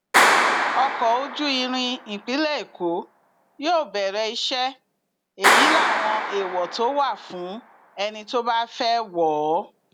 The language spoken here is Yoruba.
ọkọ ojú irin ìpínlẹ èkó yóò bẹrẹ iṣẹ èyí láwọn èèwọ tó wà fún ẹni tó bá fẹẹ wọ ọ